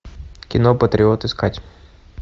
кино патриот искать